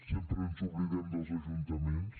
sempre ens oblidem dels ajuntaments